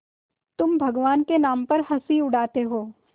तुम भगवान के नाम पर हँसी उड़ाते हो